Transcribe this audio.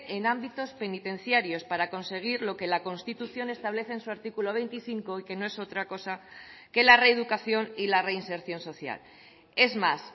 en ámbitos penitenciarios para conseguir lo que la constitución establece en su artículo veinticinco y que no es otra cosa que la reeducación y la reinserción social es más